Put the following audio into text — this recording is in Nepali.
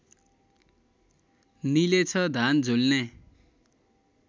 निलेछ धान झुल्ने